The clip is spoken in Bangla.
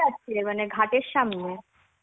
মানে ঘাট এর সামনে?